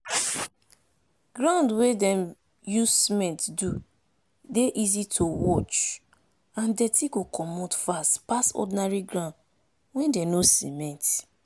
ground wey dem use cement do dey easy to wash and dirty go commot fast pass ordinary ground wey dem no cement.